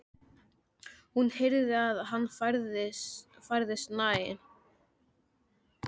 Hún heyrði að hann færðist nær.